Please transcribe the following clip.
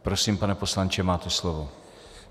Prosím, pane poslanče, máte slovo.